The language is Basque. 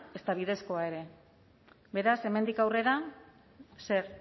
ezta bidezkoa ere beraz hemendik aurrera zer